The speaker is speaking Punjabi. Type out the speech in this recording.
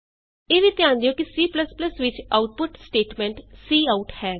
ਇਹ ਵੀ ਧਿਆਨ ਦਿਉ ਕਿ C ਵਿਚ ਆਉਟਪੁਟ ਸਟੇਟਮੈਂਟ ਸੀਆਉਟ ਹੈ